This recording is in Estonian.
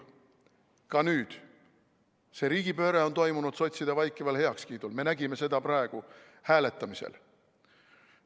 Ka nüüd see riigipööre on toimunud sotside vaikival heakskiidul, me nägime seda praegu hääletamisel.